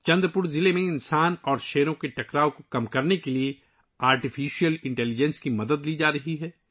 چندر پور ضلع میں انسانوں اور شیروں کے درمیان تصادم کو کم کرنے کے لیے مصنوعی ذہانت کی مدد لی جا رہی ہے